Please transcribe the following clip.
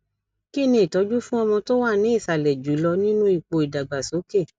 kini itoju fún ọmọ tó wà ní ìsàlẹ jùlọ nínú ipo ìdàgbàsókè